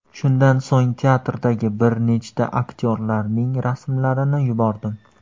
Shundan so‘ng teatrdagi bir nechta aktyorlarning rasmlarini yubordim.